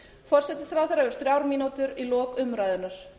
forsætisráðherra hefur þrjár mínútur í lok umræðunnar